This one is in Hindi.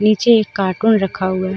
नीचे एक कार्टून रखा हुआ है।